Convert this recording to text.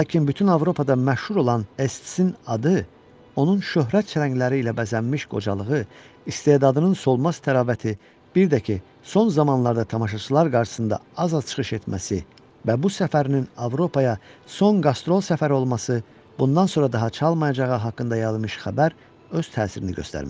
Lakin bütün Avropada məşhur olan S-in adı, onun şöhrət çələngləri ilə bəzənmiş qocalığı, istedadının solmaz təravəti, bir də ki, son zamanlarda tamaşaçılar qarşısında az-az çıxış etməsi və bu səfərinin Avropaya son qastrol səfəri olması, bundan sonra daha çalmayacağı haqqında yayılmış xəbər öz təsirini göstərmişdi.